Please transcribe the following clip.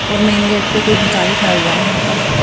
और main gate पे कोई भिखारी खड़ा हुआ है यहां पर।